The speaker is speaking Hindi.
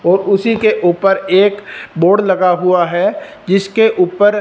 और उसी के ऊपर एक बोर्ड लगा हुआ है जिसके ऊपर--